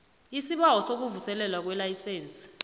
isibawo sokuvuselelwa kwelayisense